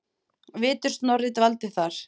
Vitur Snorri dvaldi þar.